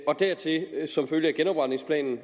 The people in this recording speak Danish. og dertil som følge af genopretningsplanen